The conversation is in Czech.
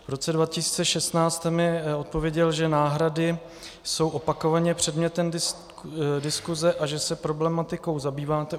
V roce 2016 jste mi odpověděl, že náhrady jsou opakovaně předmětem diskuse a že se problematikou zabýváte.